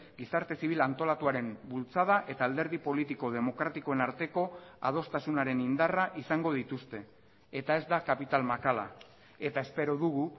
gizarte zibil antolatuaren bultzada eta alderdi politiko demokratikoen arteko adostasunaren indarra izango dituzte eta ez da kapital makala eta espero dugu